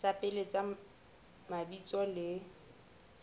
tsa pele tsa mabitso le